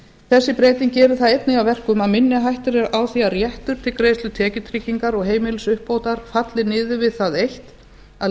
þessi breyting gerir það einnig að verkum að minni hætta er á því að réttur til greiðslu tekjutryggingar og heimilisuppbótar falli niður við það eitt að